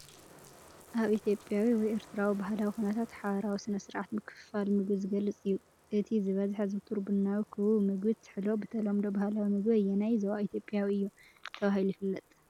ኣብ ኢትዮጵያዊ ወይ ኤርትራዊ ባህላዊ ኵነታት ሓባራዊ ስነ-ስርዓት ምክፍፋል ምግቢ ዝገልጽ እዩ። እቲ ዝበዝሐ ዝውቱር ቡናዊ ክቡብ ምግቢ (ትሕሎ) ብተለምዶ ባህላዊ መግቢ ኣየናይ ዞባ ኢትዮጵያ እዩ ተባሂሉ ይፍለጥ?